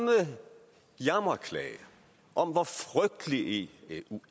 jammerklage om hvor frygtelig eu